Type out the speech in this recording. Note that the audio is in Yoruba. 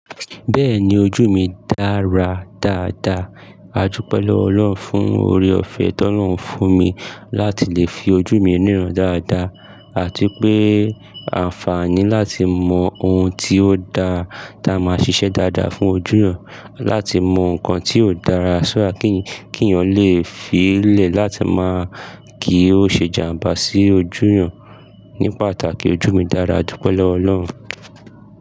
Bẹ́ẹ̀ni ojú mi dára dáadáa, àjú pẹ́ lọ Ọlọ́run fún oore-ọ̀fẹ́ tí Ọlọ́run fún mi láti lè fi ojú mi ríran dáadáa àti pé àǹfààní láti mọ ohun tí ó da ta máa ṣiṣẹ́ dáadáa fún ojú mi, láti mọ nǹkan tí ó dára ṣúà kí èèyàn lè fi ílẹ̀ láti máa kí ó ṣe jàmbá sí ojú mi ní pàtàkì ojú mi dára, àdúpé lọwọ Ọlọ́run.